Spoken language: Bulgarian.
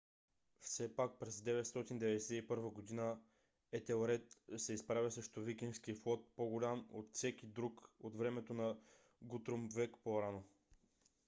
все пак през 991 г. етелред се изправя срещу викингски флот по-голям от всеки друг от времето на гутрум век по-рано